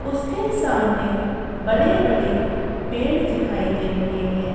उसके सामने बड़े-बड़े पेड़ दिखाई दे रहे हैं।